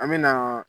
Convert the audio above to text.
An me na